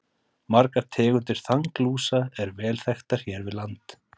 Margar tegundir þanglúsa eru vel þekktar hér við land.